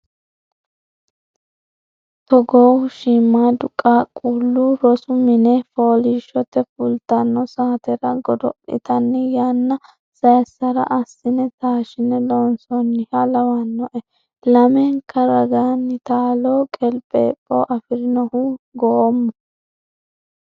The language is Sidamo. Togohu shiimadu qaaqqulu rosu mine foolishshote fultano saatera godo'littanni yanna saysara assine taashine loonsoniha lawanoe lamenka ragani taalo qeliphepho afirinohu goomu